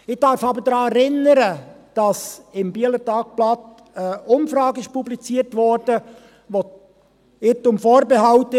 Ich darf aber daran erinnern, dass im «Bieler Tagblatt» eine Umfrage publiziert wurde, die – Irrtum vorbehalten;